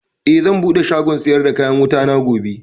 Eh, zan buɗe shagon siyar da kayan wutana gobe